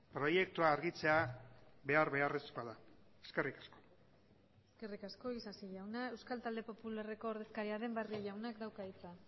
proiektua argitzea behar beharrezkoa da eskerrik asko eskerrik asko isasi jauna euskal talde popularreko ordezkaria den barrio jaunak dauka hitza